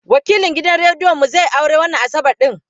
Wakilin gidan rediyon mu zai yi aure wannan Asabar ɗin.